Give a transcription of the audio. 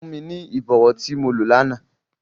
Fun mi ni ibọwọ ti mo lo làná!